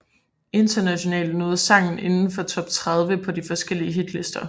Internationalt nåede sangen indenfor top 30 på flere forskellige hitlister